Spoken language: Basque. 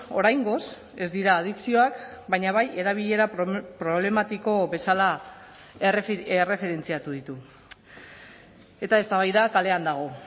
oraingoz ez dira adikzioak baina bai erabilera problematiko bezala erreferentziatu ditu eta eztabaida kalean dago